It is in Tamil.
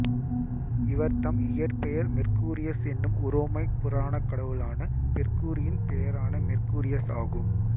இவர்தம் இயற்பெயர் மெர்க்கூரியஸ் என்னும் உரோமை புராணக்கடவுளான பெர்குரியின் பெயரான மெர்க்கூரியஸ் ஆகும்